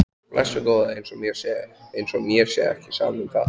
Blessuð góða. eins og mér sé ekki sama um það!